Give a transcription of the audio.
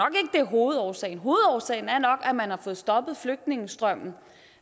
er hovedårsagen hovedårsagen er nok at man har fået stoppet flygtningestrømmen